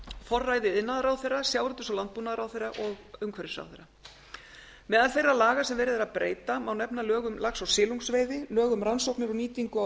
forræði iðnaðarráðherra sjávarútvegs og landbúnaðarráðherra og umhverfisráðherra meðal þeirra laga sem verið er að breyta má nefna lög um lax og silungsveiði lög um rannsóknir á